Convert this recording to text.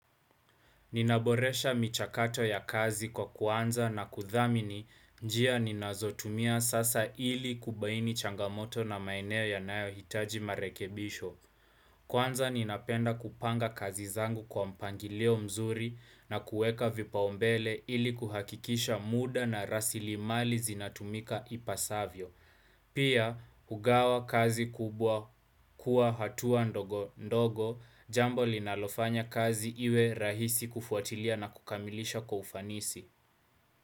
Ninaboresha michakato ya kazi kwa kuanza na kuthamini njia ninazotumia sasa ili kubaini changamoto na maeneo yanayo hitaji marekebisho. Kwanza ninapenda kupanga kazi zangu kwa mpangilio mzuri na kueka vipaumbele ili kuhakikisha muda na rasilimali zinatumika ipasavyo. Pia, kugawa kazi kubwa kuwa hatua ndogo ndogo, jambo linalofanya kazi iwe rahisi kufuatilia na kukamilisha kwa ufanisi.